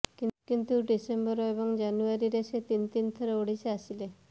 କିନ୍ତୁ ଡିସେମ୍ୱର ଏବଂ ଜାନୁଆରୀରେ ସେ ତିନି ତିନି ଥର ଓଡ଼ିଶା ଆସିଲେ